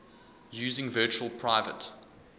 using virtual private